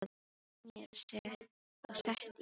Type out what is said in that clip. Ég skellti mér á sett í fyrra.